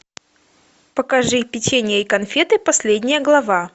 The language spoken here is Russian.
покажи печенье и конфеты последняя глава